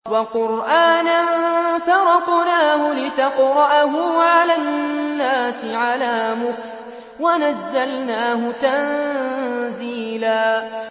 وَقُرْآنًا فَرَقْنَاهُ لِتَقْرَأَهُ عَلَى النَّاسِ عَلَىٰ مُكْثٍ وَنَزَّلْنَاهُ تَنزِيلًا